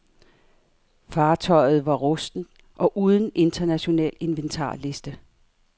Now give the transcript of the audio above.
Fartøjet var rustent og uden international inventarliste.